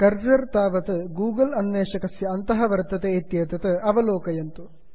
cursor तावत् Google Google अन्वेषकस्य अन्तः वर्तते इत्येतत् अवलोकयन्तु